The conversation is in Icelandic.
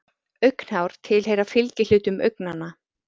Augnhár tilheyra fylgihlutum augnanna.